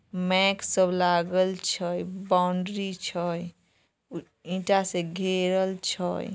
Make सब लागल छे बाउंड्री छय। ई ईटा से घेरल छय।